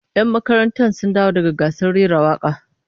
Yan makarantar sun dawo daga gasar rera waka